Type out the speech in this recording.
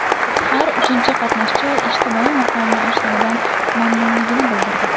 Har uchinchi qatnashchi ijtimoiy maqomi oshganidan mamnunligini bildirdi.